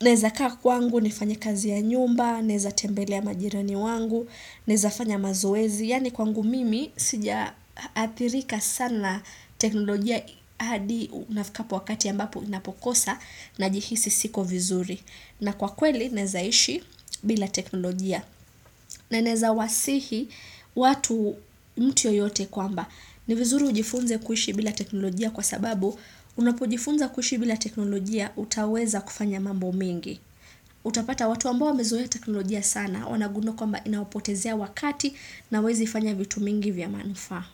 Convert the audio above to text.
Naweza kaa kwangu nifanye kazi ya nyumba Naweza tembelea majirani wangu Naweza fanya mazoezi Yani kwangu mimi sija athirika sana teknolojia hadi unafikapo wakati ambapo niinapokosa Najihisi siko vizuri na kwa kweli nawezaishi bila teknolojia na naweza wasihi watu mtu yoyote kwamba ni vizuri ujifunze kuishi bila teknolojia kwa sababu unapojifunza kuishibila teknolojia utaweza kufanya mambo mengi utapata watu ambao wamezoea teknolojia sana wanagundua kwamba inawapotezea wakati na hawawezi fanya vitu mingi vya manufaa.